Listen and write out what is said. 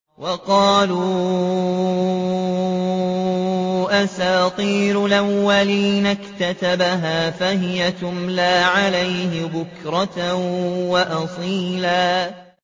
وَقَالُوا أَسَاطِيرُ الْأَوَّلِينَ اكْتَتَبَهَا فَهِيَ تُمْلَىٰ عَلَيْهِ بُكْرَةً وَأَصِيلًا